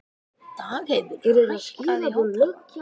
Dagheiður, hækkaðu í hátalaranum.